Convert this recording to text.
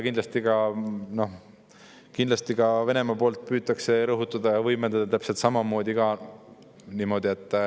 Kindlasti ka Venemaa püüab seda rõhutada ja võimendada täpselt samamoodi.